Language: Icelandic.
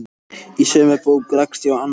Í sömu bók rakst ég á annað ljóð